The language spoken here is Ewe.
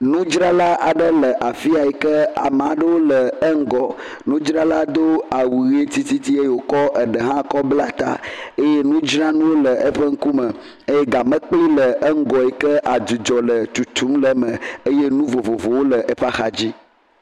Nudzrala aɖe le afiya yike amea ɖe le eŋgɔ. Nudzrala do awu ɣi titi eye wokɔ eɖe hã kɔ bla ta eye nudzranuwo le eƒe ŋkume eye gamekpli le eƒe ŋgɔ adzudzɔ le tutum le eme eye nu vovovowo le eƒe axa dzi.